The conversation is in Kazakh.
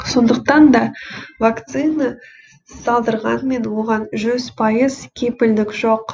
сондықтан да вакцина салдырғанмен оған жүз пайыз кепілдік жоқ